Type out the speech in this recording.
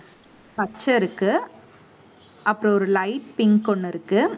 பச்சை இருக்கு அப்புறம் ஒரு light pink ஒண்ணு இருக்கு